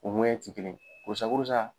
U ŋɔɲɛ te kelen ye. Korosa korosa